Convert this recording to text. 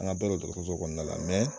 An ka bɛɛ don dɔgɔtɔrɔsow kɔnɔna la